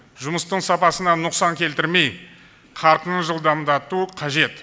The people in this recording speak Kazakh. жұмыстың сапасына нұқсан келтірмей қарқынын жылдамдату қажет